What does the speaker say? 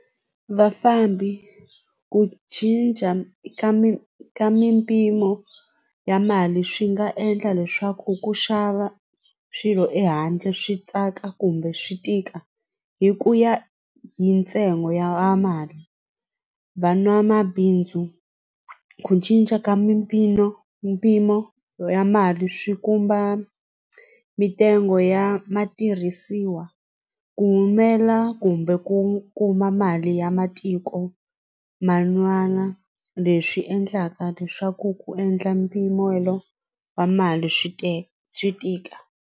Vafambi ku cinca eka mi ka mimpimo ya mali swi nga endla leswaku ku xava swilo ehandle swi tsaka kumbe swi tika hi ku ya hi ntsengo ya mali van'wamabindzu ku cinca ka mimpimo mpimo ya mali swi kumba mintsengo ya matirhisiwa ku humela kumbe ku kuma mali ya matiko man'wana leswi endlaka leswaku ku endla mpimelo wa mali swi swi tika.